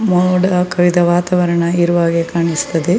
ಅದಲ್ಲದೆ ಈಗ ನೀವು ನೋಡುತ್ತಿರುವ ದೃಶ್ಯ .